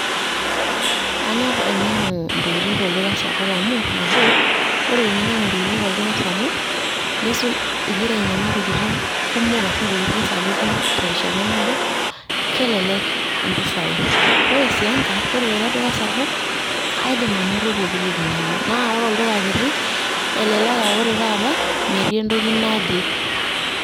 Anyor ainyang'u intokiti tolduka sapuk amu nabo, ore eninyang'u intokiti tolduka sapuk nisul ing'ira aiyang'u intokiti sapuki terishata nabo kelelek impisai. Ore sii enkai, kore teleduka sapuk, kaidim anoto pooki toki nayeu. Naa ore olduka kiti, elelek naa ore taata metii entoki naje.